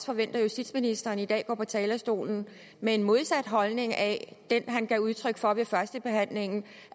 forventer at justitsministeren i dag går på talerstolen med en modsat holdning af den han gav udtryk for ved førstebehandlingen i